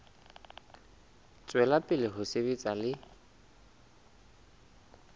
tswela pele ho sebetsa le